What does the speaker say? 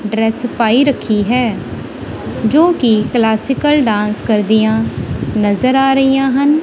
Dress ਪਾਈ ਰੱਖੀ ਹੈ ਜੋ ਕਿ ਕਲਾਸਿਕਲ ਡਾਂਸ ਕਰਦੀਆਂ ਨਜ਼ਰ ਆ ਰਹੀਆਂ ਹਨ।